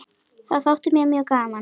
Það þótti mér mjög gaman.